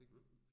Mh